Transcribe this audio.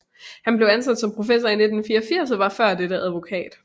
Han blev ansat som professor i 1984 og var før dette advokat